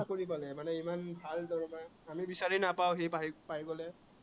চাকৰি পালে মানে ইমান ভাল দৰমহা, আমি বিচাৰি নাপাওঁ, সি ভাই পাই গলে।